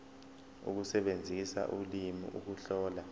ukusebenzisa ulimi ukuhlola